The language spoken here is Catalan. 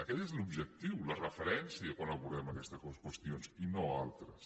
aquest és l’objectiu la referència quan abordem aquestes qüestions i no altres